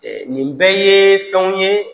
nin bɛɛ ye fɛnw ye